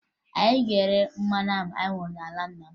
Anyị ga-ere mmanụ ahụ anyị hụrụ n'ala nna m